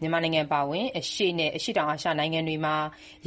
မြန်မာနိုင်ငံ အပါအဝင် အရှေ့နဲ့ အရှေ့တောင်အာရှနိုင်ငံတွေမှာ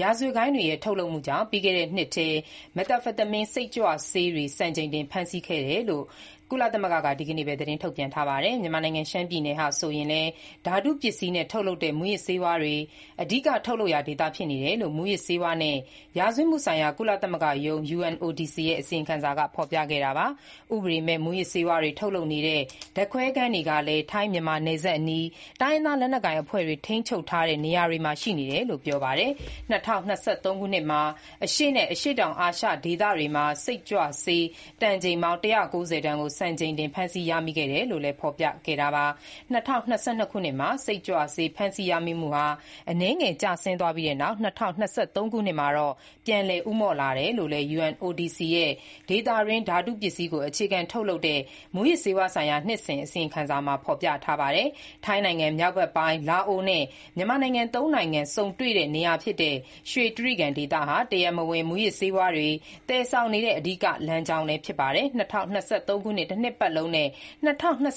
ရာဇဝတ်ဂိုဏ်းတွေရဲ့ ထုတ်လုပ်မှုကြောင့် ပြီးခဲ့တဲ့နှစ်ထဲ methamphetamine စိတ်ကြွဆေးတွေ စံချိန်တင် ဖမ်းမိခဲ့တယ်လို့ ကုလသမဂ္ဂက ဒီနေ့ပဲ သတင်းထုတ်ပြန်လိုက်ပါတယ်။ မြန်မာနိုင်ငံ ရှမ်းပြည်နယ်ဟာ ဆိုရင်လည်း ဓာတုပစ္စည်းနဲ့ထုတ်လုပ်တဲ့ မူးယစ်ဆေးဝါးတွေ အဓိက ထုတ်လုပ်ရာဒေသ ဖြစ်နေတယ်လို့ မူးယစ်ဆေးဝါးနဲ့ ရာဇဝတ်မှုဆိုင်ရာ ကုလသမဂ္ဂရုံး (UNODC) ရဲ့ အစီရင်ခံစာက ဖော်ပြခဲ့တာပါ။ ဥပဒေမဲ့ မူးယစ်ဆေးဝါးတွေ ထုတ်လုပ်နေတဲ့ ဓာတ်ခွဲခန်းတွေကလည်း ထိုင်း-မြန်မာ နယ်စပ်အနီး တိုင်းရင်းသားလက်နက်ကိုင်အဖွဲ့တွေ ထိန်းချုပ်ထားတဲ့ နေရာတွေမှာရှိနေတယ်လို့ ပြောပါတယ်။ ၂၀၂၃ ခုနှစ်မှာ အရှေ့နဲ့ အရှေ့တောင်အာရှဒေသတွေမှာ စိတ်ကြွဆေး တန်ချိန်ပေါင်း ၁၉၀ တန်ကို စံချိန်တင် ဖမ်းဆီးရမိခဲ့တယ်လို့လည်း ဖော်ပြခဲ့တာပါ။ ၂၀၂၂ ခုနှစ်မှာ စိတ်ကြွဆေး ဖမ်းဆီးရမိမှုဟာ အနည်းငယ်ကျဆင်းသွားပြီးနောက် ၂၀၂၃ ခုနှစ်မှာတော့ ပြန်လည်ဦးမော့လာတယ်လို့လည်း UNODC ရဲ့ ဒေသတွင်း ဓာတုပစ္စည်းကို အခြေခံထုတ်လုပ်တဲ့ မူးယစ်ဆးဝါးဆိုင်ရာ နှစ်စဉ်အစီရင်ခံစာမှာ ဖော်ပြထားပါတယ်။ ထိုင်းနိုင်ငံ မြောက်ဘက်ပိုင်း၊ လာအိုနဲ့ မြန်မာနိုင်ငံ သုံးနိုင်ငံ ဆုံတွေ့တဲ့ နေရာဖြစ်တဲ့ ရွှေတြိဂံဒေသဟာ တရားမဝင် မူးယစ်ဆေးဝါးတွေ သယ်ဆောင်နေတဲ့ အဓိက လမ်းကြောင်းလည်း ဖြစ်ပါတယ်။ ၂၀၂၃ ခုနှစ် တနှစ်ပတ်လုံးနဲ့ ၂၀၂၄ ခုနှ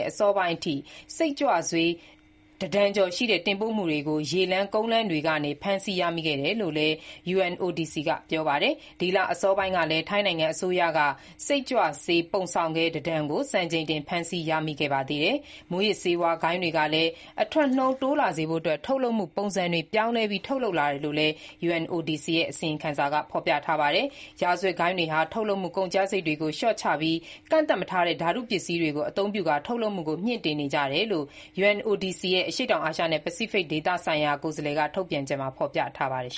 စ် အစောပိုင်းအထိ စိတ်ကြွဆေး တတန်ကျော်ရှိတဲ့ တင်ပို့မှုတွေကို ရေလမ်း၊ ကုန်းလမ်းတွေကနေ ဖမ်းဆီးရမိခဲ့တယ်လို့လည်း UNODC က ပြောပါတယ်။ ဒီလအစောပိုင်းကလည်း ထိုင်းနိုင်ငံက စိတ်ကြွဆေး ပုံဆောင်ခဲ တတန်ကို စံချိန်တင်ဖမ်းဆီးမိခဲ့ပါသေးတယ်။ မူးယစ်ဆေးဝါး ဂိုဏ်းတွေကလည်း အထွက်နှုန်းတိုးလာစေဖို့အတွက် ထုတ်လုပ်မှုပုံစံတွေ ပြောင်းလဲပြီး ထုတ်လုပ်လာတယ်လို့လည်း UNODC အစီရင်ခံစာက ပြောပါတယ်။ ရာဇဝတ်ဂိုဏ်းတွေဟာ ထုတ်လုပ်မှုကုန်ကျစရိတ်တွေကို လျှော့ချပြီး ကန့်သတ်မထားတဲ့ ဓာတုပစ္စည်းတွေကို အသုံးပြုကာ ထုတ်လုပ်မှုကို မြှင့်တင်နေကြတယ်လို့လည်း UNODC ရဲ့ အရှေ့တောင်အာရှနှင့် ပစိဖိတ်ဒေသဆိုင်ရာ ကိုယ်စားလှယ် Masood Karimipour က ထုတ်ပြန်ချက်မှာ ဖော်ပြထားပါတယ်။